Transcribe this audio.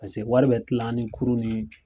wari bɛ kila an ni kurun ni